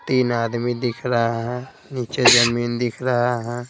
तीन आदमी दिख रहा है नीचे जमीन दिख रहा है।